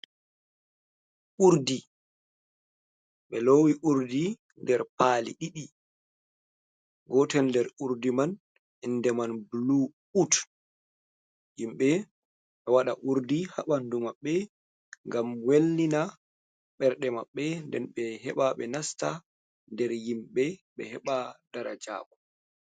Urdi ɓe loowi urdi nder paali ɗiɗi, gotel nder urdi man innde man bulu ut. Himɓe ɓe ɗo waɗa urdi haa ɓanndu maɓɓe, ngam wellina ɓerde maɓɓe. Nden ɓe heɓa ɓe nasta nder himɓe ɓe heɓa darajaaku.